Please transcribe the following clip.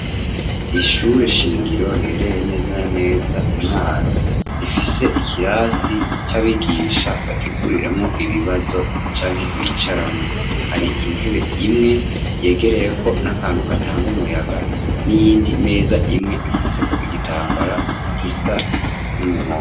Ishure shingiro riherereye neza neza i mwaro rifise ikirasi c’abigisha bateguriramwo ibibazo canke bicaramwo, har’intebe imwe yegereye ko n'akantu gatanga umuyaga n'iyindi meza imwe ifuseko igitambara gisa n'umuhondo.